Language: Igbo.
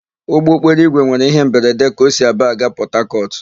Ụgbọokporoigwe nwere íhé mberede ka o si Aba aga Pọtakọtụ.